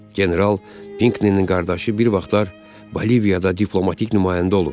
General Pinkninin qardaşı bir vaxtlar Boliviyada diplomatik nümayəndə olub.